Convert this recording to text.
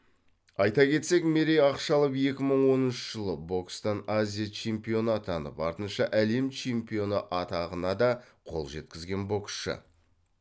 айта кетсек мерей ақшалов екі мың он үшінші жылы бокстан азия чемпионы атанып артынша әлем чемпионы атағына да қол жеткізген боксшы